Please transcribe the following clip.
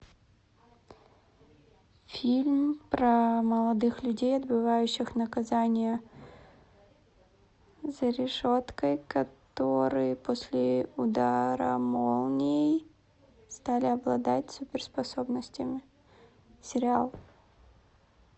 фильм про молодых людей отбывающих наказание за решеткой которые после удара молнией стали обладать суперспособностями сериал